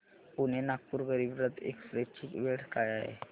Pune Nagpur Garib Rath express ची वेळ काय आहे